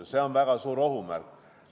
Ja see on väga suur ohumärk.